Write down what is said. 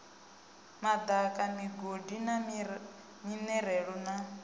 madaka migodi na minerale na